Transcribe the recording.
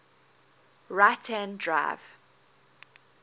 right hand drive